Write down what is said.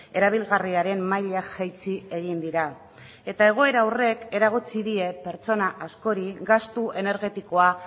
erabilgarriaren maila jaitsi egin dira eta egoera horrek eragotzi die pertsona askori gastu energetikoa